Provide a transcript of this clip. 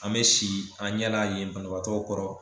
An bɛ si an ɲɛna yen banabaatɔw kɔrɔ